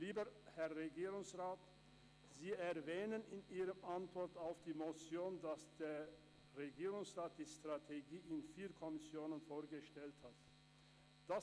Lieber Herr Regierungsrat, Sie erwähnen in Ihrer Antwort auf die Motion, dass der Regierungsrat die Strategie in vier Kommissionen vorgestellt habe.